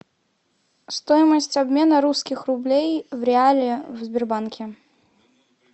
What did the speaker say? стоимость обмена русских рублей в реале в сбербанке